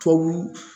Tubabu